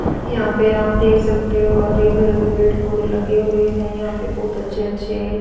यहां पे आप देख सकते हो हरे भरे पेड़ पौधे लगे हुए हैं। यहाँ पर बहोत अच्छे अच्छे--